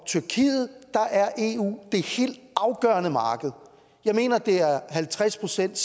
tyrkiet er eu det helt afgørende marked jeg mener at det er halvtreds procent